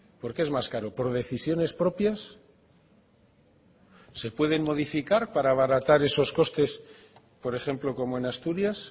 por qué es más caro por decisiones propias se pueden modificar para abaratar esos costes por ejemplo como en asturias